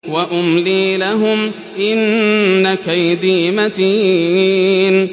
وَأُمْلِي لَهُمْ ۚ إِنَّ كَيْدِي مَتِينٌ